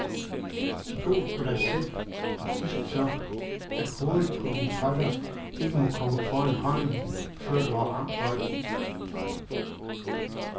Stol på dig selv og husk så, at hovedet på din putter ikke må komme foran hånden, før du har ramt bolden.